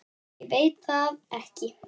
Ég veit það ekki